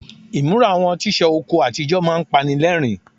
Ìmúra àwọn tíṣà oko àtijọ́ máa ń panilẹ́rìn-ín.